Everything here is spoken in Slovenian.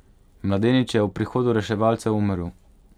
Mladenič je ob prihodu reševalcev umrl.